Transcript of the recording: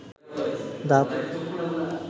দাঁত